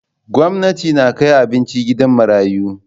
Gwamnati na kai kayan abinci gidan marayu.